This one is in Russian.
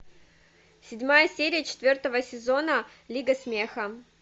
седьмая серия четвертого сезона лига смеха